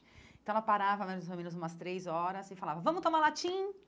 Então, ela parava mais ou menos umas três horas e falava, vamos tomar?